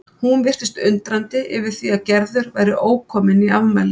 Hún virtist undrandi yfir því að Gerður væri ókomin í afmælið.